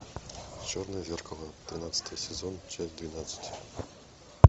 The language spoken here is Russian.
черное зеркало тринадцатый сезон часть двенадцать